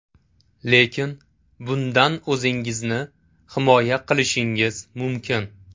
Lekin bundan o‘zingizni himoya qilishingiz mumkin.